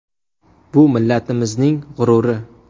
Bu millatimizning g‘ururi.